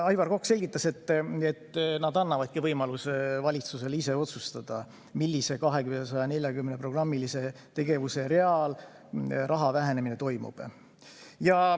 Aivar Kokk selgitas, et nad annavadki võimaluse valitsusel ise otsustada, millisel real nendest 240 programmilisest tegevusest raha vähendamine toimub.